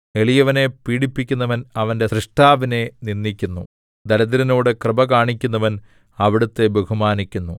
എളിയവനെ പീഡിപ്പിക്കുന്നവൻ അവന്റെ സ്രഷ്ടാവിനെ നിന്ദിക്കുന്നു ദരിദ്രനോട് കൃപ കാണിക്കുന്നവൻ അവിടുത്തെ ബഹുമാനിക്കുന്നു